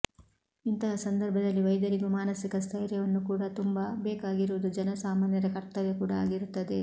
ಇಂತಹ ಸಂದರ್ಭದಲ್ಲಿ ವೈದ್ಯರಿಗೂ ಮಾನಸಿಕ ಸ್ಥೈರ್ಯವನ್ನು ಕೂಡ ತುಂಬ ಬೇಕಾಗಿರುವುದು ಜನ ಸಾಮಾನ್ಯರ ಕರ್ತವ್ಯ ಕೂಡ ಆಗಿರುತ್ತದೆ